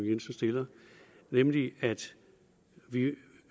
jensen stillede nemlig at